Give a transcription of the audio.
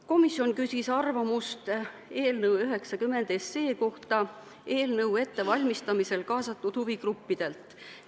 Komisjon küsis eelnõu ettevalmistamisesse kaasatud huvigruppidelt eelnõu kohta arvamust.